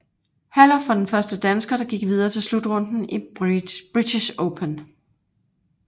Herluf var den første dansker der gik videre til slutrunden i British Open